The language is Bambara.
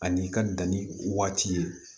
Ani i ka danni waati ye